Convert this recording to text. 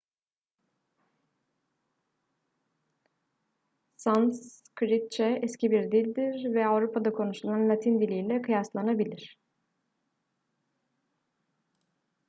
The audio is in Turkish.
sanskritçe eski bir dildir ve avrupa'da konuşulan latin diliyle kıyaslanabilir